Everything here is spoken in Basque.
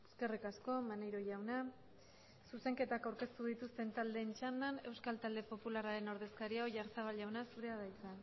eskerrik asko maneiro jaunak zuzenketak aurkeztu dituzten taldeen txandan euskal taldeen popularraren ordezkaria oyarzabal jaunak hitza dauka